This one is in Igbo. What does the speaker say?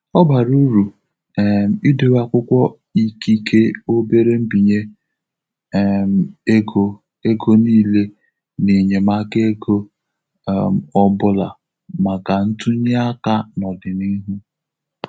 Ọ bara uru um idowe akwụkwọ ikike obere mbinye um ego ego niile na enyemaka ego um ọbụla maka ntụnye aka n'ọdịnihu.